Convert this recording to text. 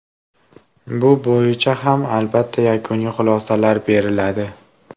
Bu bo‘yicha ham, albatta, yakuniy xulosalar beriladi.